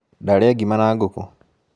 Ndarĩa ngima na ngũkũ